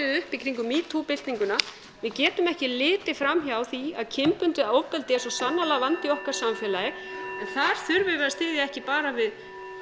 upp í kringum metoo byltinguna við getum ekki litið fram hjá því að kynbundið ofbeldi er svo sannarlega vandi í okkar samfélagi og þar þurfum við að styðja ekki bara við